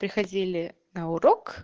приходили на урок